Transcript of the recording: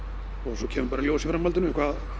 svo kemur bara í ljós í framhaldinu